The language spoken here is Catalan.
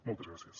moltes gràcies